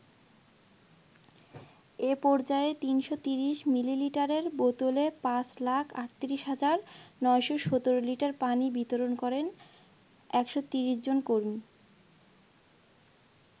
এ পর্যায়ে ৩৩০ মিলিলিটারের বোতলে পাঁচ লাখ ৩৮ হাজার ৯১৭ লিটার পানি বিতরণ করেন ১৩০ জন কর্মী।